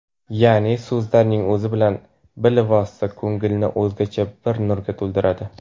Yaʼni so‘zlarning o‘zi bilan bilvosita ko‘ngilni o‘zgacha bir nurga to‘ldiradi.